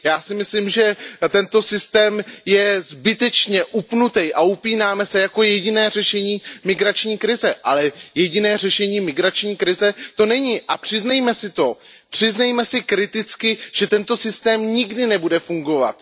Já si myslím, že tento systém je zbytečně upnutý a upínáme se na něj jako na jediné řešení migrační krize, ale jediné řešení migrační krize to není. Přiznejme si to, přiznejme si kriticky, že tento systém nikdy nebude fungovat.